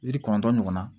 Yiri kɔnɔntɔn ɲɔgɔnna